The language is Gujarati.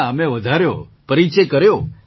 ના અમે વધાર્યો પરિચય કર્યો